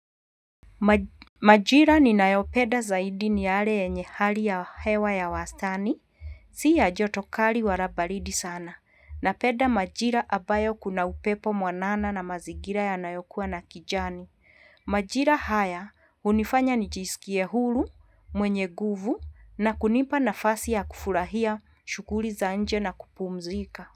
Majira ninayopenda zaidi ni yale yenye hali ya hewa ya wastani, si ya joto kali wala baridi sana. Napenda majira ambayo kuna upepo mwanana na mazigira yanayokuwa na kijani Majira haya hunifanya nijisikie huru mwenye nguvu na kunipa nafasi ya kufurahia shughuli za nje na kupumzika.